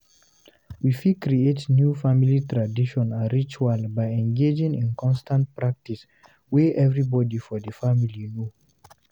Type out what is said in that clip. We fit create new family tradition and ritual by engagin in constant practice wey everybody for di family know